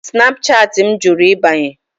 Snapchatị m jụrụ ịbanye.